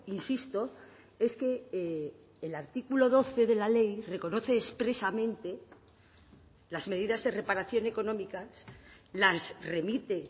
insisto es que el artículo doce de la ley reconoce expresamente las medidas de reparación económicas las remite